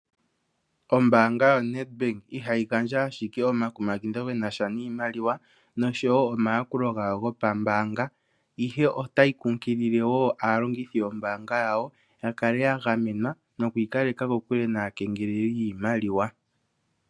Ombaanga yaNedbank ihayi gandja ashike omakumagidho genasha niimaliwa nosho wo omayakulo nawa gopambaanga ihe otayi kunkileli wo aalongithi yombaanga yawo yakale yagamenwa noku ikaleka kokule naakengeleli yiimaliwa.